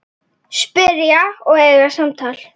Spyrja og eiga samtal.